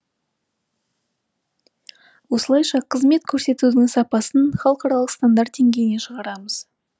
осылайша қызмет көрсетудің сапасын халықаралық стандарт деңгейіне шығарамыз